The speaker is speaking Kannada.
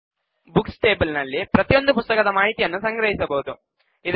ಬುಕ್ಸ್ ಟೇಬಲ್ ನಲ್ಲಿ ಪ್ರತಿಯೊಂದು ಪುಸ್ತಕದ ಮಾಹಿತಿಯನ್ನು ಸಂಗ್ರಹಿಸಬಹುದು